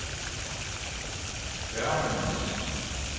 børnenes